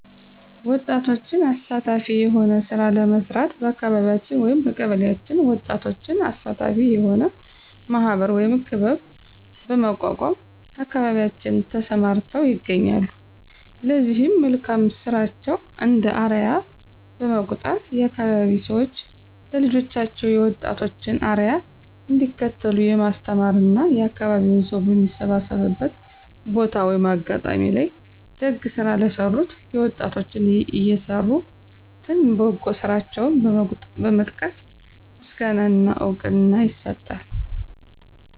ወጣቶችን አሳታፊ የሆነ ስራ ለመስራት በአካቢያችን/በቀበሌአችን ወጣቶችን አሳታፊ የሆነ ማህበር(ክበብ) በማቋቋም አካባቢያችን ተሰማርተው ይገኛሉ ለዚህ መልካም ስራቸው እንደ አርያ በመቁጠር የአካባቢዉ ሰዎች ለልጆቻቸው የወጣቶችን አርያ እንዲከተሉ የማስተማር እና የአካባቢው ሰው በሚሰባሰብበት ቦታ(አጋጣሚ) ላይ ደግ ስራ ለሰሩት የወጣቶን የሰሩትን በጎ ስራቸውን በመጥቀስ ምስጋና እና እውቅና ይሰጣል።